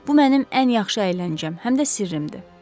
Bu mənim ən yaxşı əyləncəm, həm də sirrimdir.